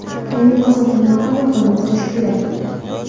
Yangi qozonxona va ko‘mirxona qurish kerak.